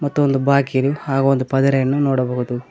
ಮತ್ತು ಒಂದು ಬಾಕಿಲು ಹಾಗೂ ಒಂದು ಪದರೆಯನ್ನು ನೋಡಬಹುದು.